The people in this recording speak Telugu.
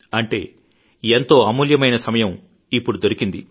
అంటే ఎంతో అమూల్యమైన సమయం ఇప్పుడు దొరికింది